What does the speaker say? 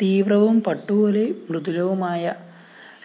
തീവ്രവും പട്ടുപോലെ മൃദുലവുമായ